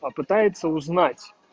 попытается узнать